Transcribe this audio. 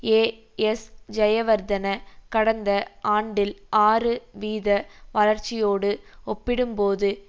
ஏஎஸ்ஜயவர்தன கடந்த ஆண்டில் ஆறு வீத வளர்ச்சியோடு ஒப்பிடும்போது